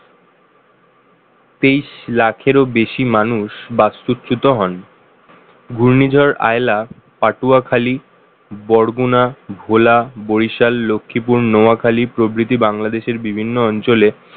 তেইশ লাখেরও বেশি মানুষ বাস্তুচূত হন ঘূর্ণিঝড় আয়লা পাটুয়াখালী বরগুনা ভোলা বরিশাল লক্ষীপুর নোয়াখালী প্রভৃতি বাংলাদেশের বিভিন্ন অঞ্চলে